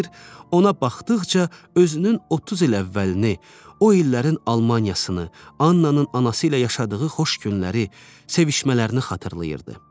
Ona baxdıqca özünün 30 il əvvəlini, o illərin Almaniyasını, Annanın anası ilə yaşadığı xoş günləri, sevişmələrini xatırlayırdı.